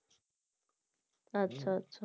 আচ্ছা আচ্ছা